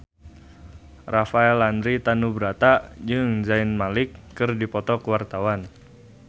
Rafael Landry Tanubrata jeung Zayn Malik keur dipoto ku wartawan